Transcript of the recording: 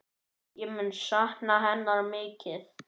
Ég mun sakna hennar mikið.